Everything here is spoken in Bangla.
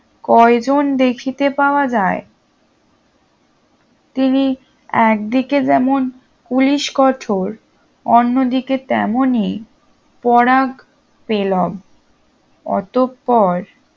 কয়জন দেখিতে পাওয়া যায় তিনি একদিকে যেমন পুলিশকঠোর অন্যদিকে তেমনই পরাগতেলভ অতঃপর